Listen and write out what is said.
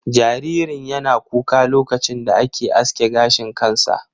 Jaririn yana kuka lokacin da ake aske gashin kansa.